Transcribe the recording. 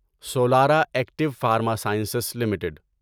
Solara Active Pharma Sciences limited